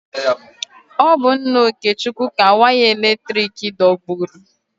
Ọ bụ nna Okechukwu ka waya eletrik dọgburu.